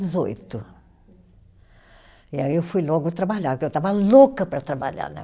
Dezoito. E aí eu fui logo trabalhar, porque eu estava louca para trabalhar, né.